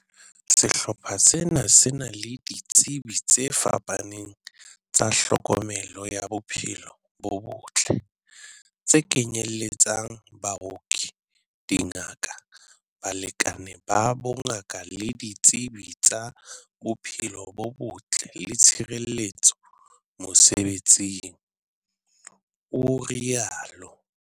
"Sehlopha sena se na le ditsebi tse fapaneng tsa tlhokomelo ya bophelo bo botle, tse kenye letsang, baoki, dingaka, balekani ba bongaka le ditsebi tsa bophelo bo botle le tshireletso mosebe tsing," o rialo.